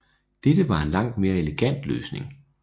Dette var en langt mere elegant løsning